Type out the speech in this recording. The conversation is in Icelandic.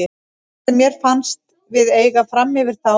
Það sem mér fannst við eiga framyfir þá